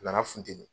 A nana funteni